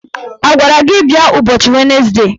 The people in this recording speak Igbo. A gwara gị bịa ụbọchị wenesde?